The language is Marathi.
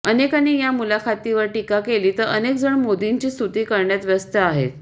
अनेकांनी या मुलाखतीवर टीका केली तर अनेक जण मोदींची स्तुती करण्यात व्यस्त आहेत